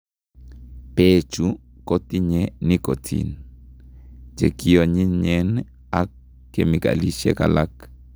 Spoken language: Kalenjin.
Beechu kotinye nicotine, chekionyinyen ak kemikalisiek alak